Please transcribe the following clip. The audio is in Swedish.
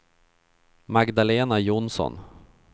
Magdalena Jonsson